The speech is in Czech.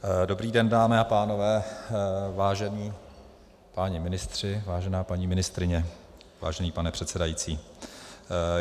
Dobrý den, dámy a pánové, vážení páni ministři, vážená paní ministryně, vážený pane předsedající.